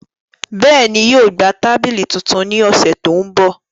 Bẹẹni, yóò gba tabili tuntun ni ọsẹ to nbọ.